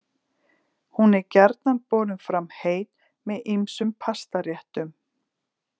Hún er gjarnan borin fram heit með ýmsum pastaréttum.